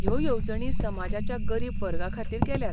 ह्यो येवजणी समाजाच्या गरीब वर्गाखातीर केल्यात .